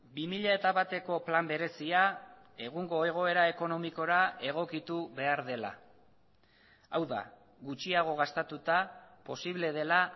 bi mila bateko plan berezia egungo egoera ekonomikora egokitu behar dela hau da gutxiago gastatuta posible dela